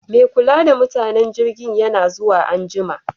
Me kula da mutanen jirgin yana zuwa anjima